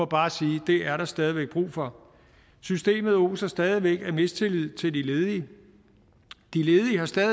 bare sige at det er der stadig væk brug for systemet oser stadig væk af mistillid til de ledige